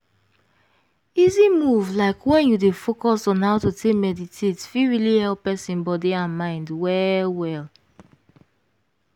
easy move like when you dey focus on how to take meditate fit really help person body and mind well well.